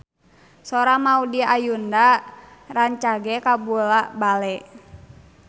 Sora Maudy Ayunda rancage kabula-bale